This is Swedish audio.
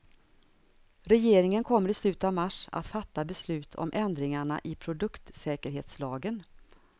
Regeringen kommer i slutet av mars att fatta beslut om ändringarna i produktsäkerhetslagen.